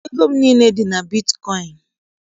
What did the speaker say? Ego m niile dị na bitkọịn